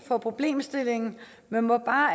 for problemstillingen men må bare